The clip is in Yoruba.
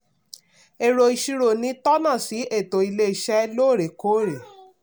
èrò ìṣirò ni tó́nà sí ètò ilé-iṣẹ́ lóòrèkóòrè.